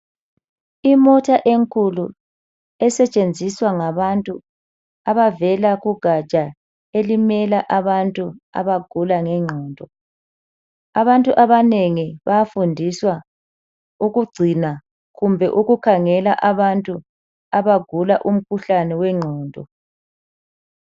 Imota enkulu esetshenziswa ngabantu abavela kugatsha elimela abantu abagula ngengqondo. Abantu abanengi bayafundiswa ukugcina kumbe ukukhangela abantu abagula umkhuhlane wengqondo.